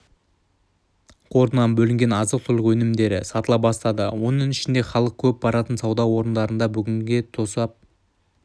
қорынан бөлінген азық-түлік өнімдері сатыла бастады оның ішінде халық көп баратын сауда орындарында бүгінде тосап